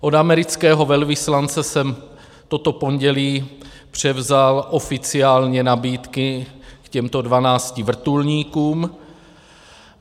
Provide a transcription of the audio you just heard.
Od amerického velvyslance jsem toto pondělí převzal oficiálně nabídky k těmto 12 vrtulníkům.